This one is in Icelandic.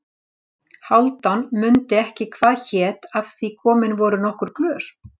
Hálfdán mundi ekki hvað hét af því komin voru nokkur glös.